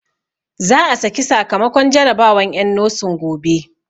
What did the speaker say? Za a saki sakamakon jarabawan en nosin gobe